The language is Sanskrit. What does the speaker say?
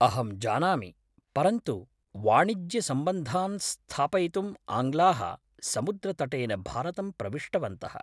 अहं जानामि, परन्तु वाणिज्यसम्बन्धान् स्थापयितुम् आङ्ग्लाः समुद्रतटेन भारतं प्रविष्टवन्तः।